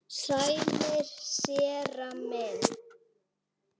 Sælir, séra minn.